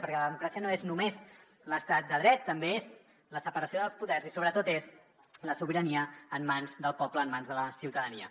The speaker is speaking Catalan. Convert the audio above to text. perquè la democràcia no és només l’estat de dret també és la separació de poders i sobretot és la sobirania en mans del poble en mans de la ciutadania